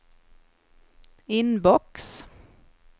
inbox